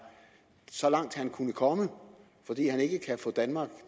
så langt han kunne komme fordi han ikke kan få danmark